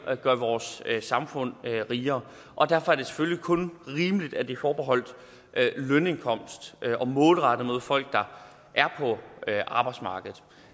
at gøre vores samfund rigere og derfor er det selvfølgelig kun rimeligt at det er forbeholdt lønindkomst og målrettet folk der er på arbejdsmarkedet